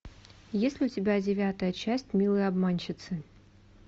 есть ли у тебя девятая часть милые обманщицы